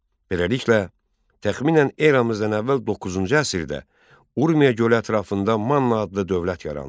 Beləliklə, təxminən eramızdan əvvəl doqquzuncu əsrdə Urmiya gölü ətrafında Manna adlı dövlət yarandı.